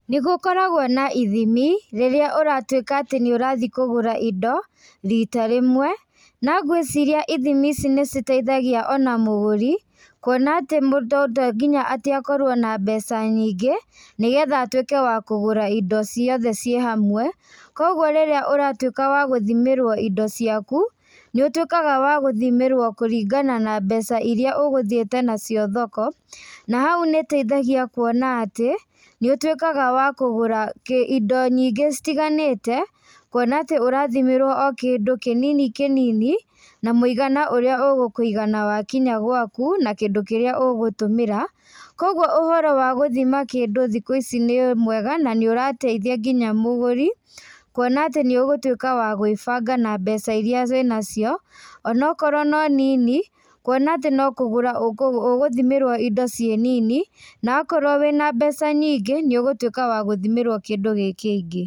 Nĩgũkoragwo na ithimi, rĩrĩa ũratuĩka atĩ nĩũrathiĩ kũgũra indo, rĩta rĩmwe, na ngwĩciria ithimi ici nĩciteithagia ona mũgũrĩ, kuona atĩ mũndũ to nginya atĩ akorwo na mbeca nyingĩ, nĩgetha atuĩke wa kũgũra indo ciothe ciĩ hamwe, koguo rĩrĩa ũratuĩka wa gũthimĩrwo indo ciaku, nĩũtuĩkaga wa gũthimĩrwo kũringana na mbeca iria ũgũthiĩte nacio thoko, na hau nĩteithagia kuona atĩ, nĩũtuĩkaga wa kũgũra kĩ indo nyingĩ citiganĩte, kuona atĩ ũrathimĩrwo o kĩndũ kĩnini kĩnini, na mũigana ũrĩa ũgũkũigana wakinya gwaku, na kindũ kĩrĩa ũgũtũmĩra, koguo ũhoro wa gũthima kindũ thikũ ici nĩmwega na nĩũrateithia nginya mũgũri, kuona atĩ nĩũgũtuĩka wa gwĩbanga na mbeca iria wĩnacio, onokorwo no nini, kuona atĩ no kũgũra ũ ũgũthimĩrwo indo ciĩ nini, nakorwo wĩna mbeca nyingĩ, nĩũgũtuĩka wa gũthimĩrwo kĩndũ gĩ kĩingĩ.